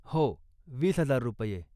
हो, वीस हजार रुपये